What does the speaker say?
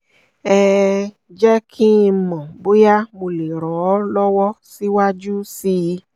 um jẹ́ kí n mọ̀ bóyá mo lè ràn ọ lọ́wọ́ síwájú sí i